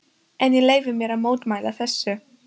En ég leyfi mér að mótmæla þessu.